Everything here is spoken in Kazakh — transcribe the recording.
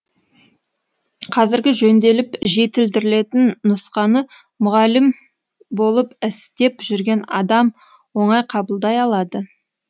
қазіргі жөнделіп жетілдірілетін нұсқаны мұғалім болып істеп жүрген адам оңай қабылдай алады